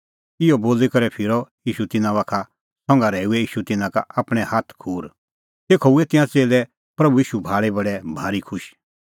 इहअ बोली करै फिरअ ईशू तिन्नां बाखा संघा रहैऊऐ ईशू तिन्नां का आपणैं हाथ खूर तेखअ हुऐ तिंयां च़ेल्लै प्रभू ईशू भाल़ी बडै भारी खुश